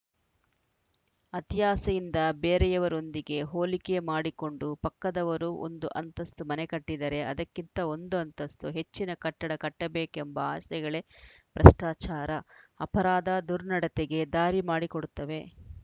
ಅತಿಯಾಸೆಯಿಂದ ಬೇರೆಯವರೊಂದಿಗೆ ಹೋಲಿಕೆ ಮಾಡಿಕೊಂಡು ಪಕ್ಕದವರು ಒಂದು ಅಂತಸ್ತು ಮನೆ ಕಟ್ಟಿದರೆ ಅದಕ್ಕಿಂತ ಒಂದು ಅಂತಸ್ತು ಹೆಚ್ಚಿನ ಕಟ್ಟಡ ಕಟ್ಟಬೇಕೆಂಬ ಆಸೆಗಳೇ ಭ್ರಷ್ಟಾಚಾರ ಅಪರಾಧ ದುರ್ನಡತೆಗೆ ದಾರಿ ಮಾಡಿಕೊಡುತ್ತವೆ